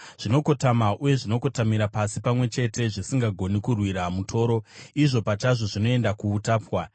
Zvinokotama uye zvinokotamira pasi pamwe chete; zvisingagoni kurwira mutoro, izvo pachazvo zvinoenda kuutapwa.